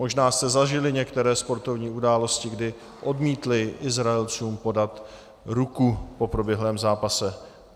Možná jste zažili některé sportovní události, kdy odmítli Izraelcům podat ruku po proběhlém zápase.